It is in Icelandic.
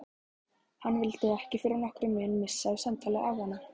Hann vildi ekki fyrir nokkurn mun missa af samtali afanna.